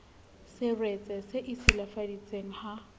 seretse se e silafaditseng ha